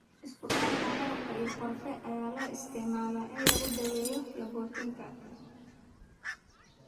Isku darka malab iyo qorfe ayaa loo isticmaalaa in lagu daweeyo laabotooyinka.